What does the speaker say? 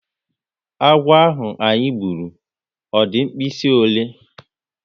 Agwo ahụ anyị gburu, ọ di mkpirisi ọle?